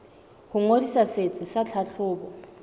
ho ngodisa setsi sa tlhahlobo